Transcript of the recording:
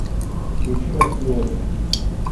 включи россию один